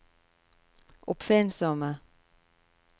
oppfinnsomme